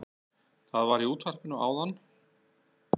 Það var í útvarpinu áðan